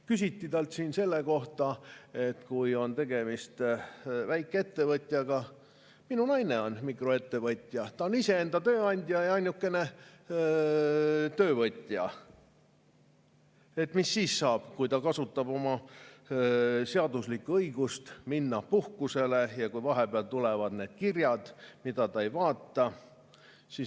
Küsiti talt siin selle kohta, et kui on tegemist väikeettevõtjaga – minu naine on mikroettevõtja, ta on iseenda tööandja ja ainukene töövõtja –, mis siis saab, kui ta kasutab oma seaduslikku õigust minna puhkusele ja kui vahepeal tulevad need kirjad, mida ta ei vaata.